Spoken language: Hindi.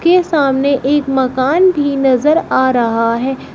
ये सामने एक मकान भी नजर आ रहा है।